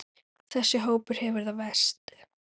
Þessi hópur hefur það verst.